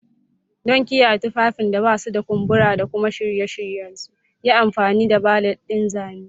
Don kiyaye tufafin da ba su da kumbura da kuma shirya su, yi amfani da valet ɗin zane.